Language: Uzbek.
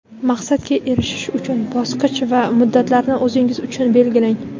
Maqsadga erishish uchun bosqich va muddatlarni o‘zingiz uchun belgilang.